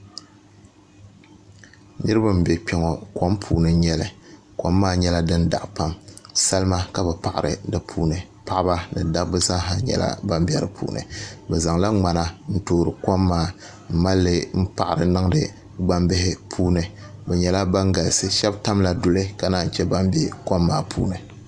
Niraba n bɛ kpɛ ŋo kom puuni n nyɛli kom maa nyɛla din daɣa pam salima ka bi paɣari di puuni paɣaba ni dabba zaaha nyɛla ban bɛ di puuni bi zaŋla ŋmana n toori kom maa n malli n paɣari niŋdi gbambihi puuni bi nyɛla ban galisi shab tamla duli ka naan chɛ ban bɛ kom maa puuni